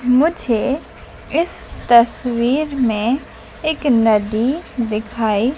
मुझे इस तस्वीर में एक नदी दिखाई--